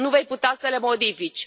Nu vei putea să le modifici.